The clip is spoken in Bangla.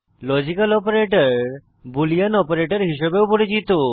লজিক্যাল অপারেটর বুলিন অপারেটর হিসাবে ও পরিচিত